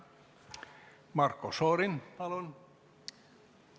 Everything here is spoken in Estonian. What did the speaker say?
Marko Šorin, palun!